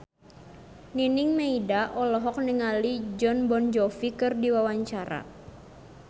Nining Meida olohok ningali Jon Bon Jovi keur diwawancara